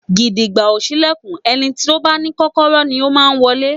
Gìdìgbà ò ṣílẹ̀kùn, ẹni bá ní Kọ́kọ́rọ́ ni ó máa wọlé